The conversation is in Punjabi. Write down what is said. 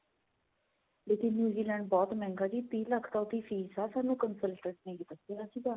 ਲੇਕਿਨ new Zealand ਤਾਂ ਬਹੁਤ ਮਹਿੰਗਾ ਜੀ ਤੀਹ ਲੱਖ ਤਾਂ ਉਹਦੀ ਫੀਸ ਆ ਸਾਨੂੰ ਅਸੀਂ ਤਾਂ